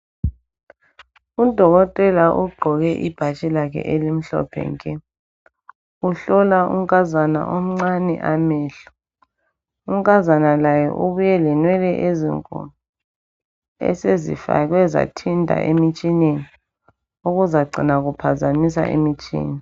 Udokotela ugqoke ibhatshi lakhe elimhlophe nke uhlola unkazana omncane amehlo. Unkazana laye ubuye lenwele ezinkulu esezifakwe zathinta emtshineni okuzacina kuphazamisa imitshina.